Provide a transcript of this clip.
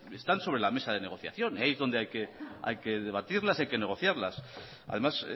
están sobre la mesa de negociación ahí es donde hay que debatirlas y hay que negociarlas además